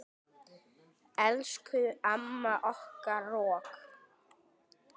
Elsku amma okkar rokk.